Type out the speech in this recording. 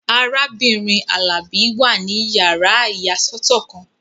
Arábìnrin Alabi wà ní yàrá ìyàsọ́tọ̀ kan